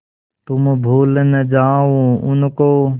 तुम भूल न जाओ उनको